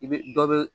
I bɛ dɔ be